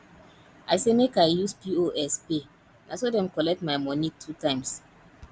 i say make i use pos pay na so dem collect my moni two times